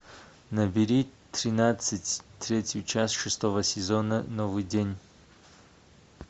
набери тринадцать третью часть шестого сезона новый день